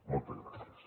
moltes gràcies